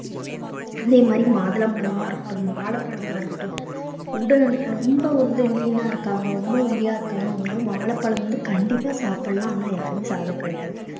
அதே மாதிரி மாதுளம்பழமா இருக்கட்டும் வாழைப்பழமா இருக்கட்டும் உடல் ரொம்ப வந்து lean ஆ இருக்காங்க ரொம்ப ஒல்லியா இருக்காங்க அவங்க எல்லாம் வாழைப்பழம் வந்து கண்டிப்பா சாப்பிடலாம் ஆனா யாருமே சாப்பிடறது கிடையாது